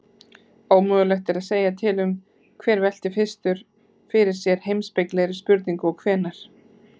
Ómögulegt er að segja til um hver velti fyrstur fyrir sér heimspekilegri spurningu og hvenær.